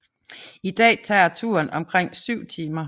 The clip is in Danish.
I dag tager turen omkring 7 timer